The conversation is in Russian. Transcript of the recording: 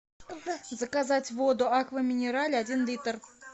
заказать воду аква минерале один литр